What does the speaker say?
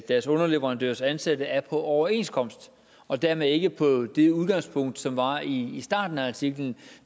deres underleverandørers ansatte er på overenskomst og dermed ikke på det udgangspunkt som var i starten af artiklen